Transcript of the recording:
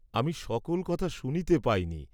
আমি সকল কথা শুনিতে পাইনি।